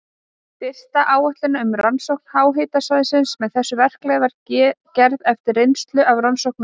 Fyrsta áætlun um rannsókn háhitasvæða með þessu verklagi var gerð eftir reynslu af rannsóknum á